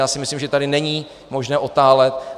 Já si myslím, že tady není možné otálet.